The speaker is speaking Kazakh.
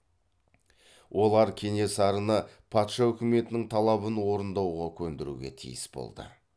олар кенесарыны патша үкіметінің талабын орындауға көндіруге тиіс болды